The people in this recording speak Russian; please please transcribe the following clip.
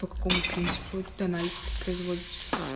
по какому принципу этот анализ блять производится